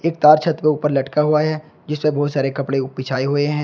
तार छत के ऊपर लटका हुआ है जिसपे बहुत सारे कपड़े बिछाए हुए हैं।